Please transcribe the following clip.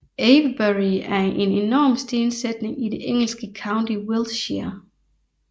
Avebury er en enorm stensætning i det engelske county Wiltshire